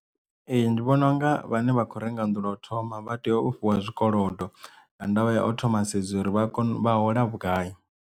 Ee ndi vhona unga vhane vha khou renga nnḓu lwa u thoma vha tea u fhiwa zwikolodo nga ndavha ya o thoma sedza uri vha kone u vha hola vhugai.